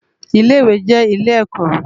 Ilé iwé jè ilé èkò